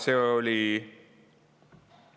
See oli konsensuslik otsus.